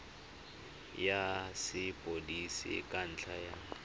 ya sepodisi ka ntlha ya